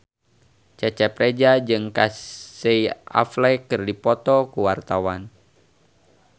Cecep Reza jeung Casey Affleck keur dipoto ku wartawan